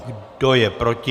Kdo je proti?